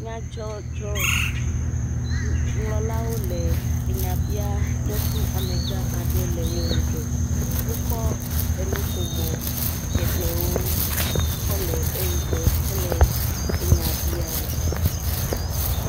Nydzɔdzɔŋ..ŋlɔlawo le enya biam yevu amegã aɖewo le wo ŋgɔ, wokɔ enuƒomɔ geɖewo kɔ le ŋgɔ hele enya biae.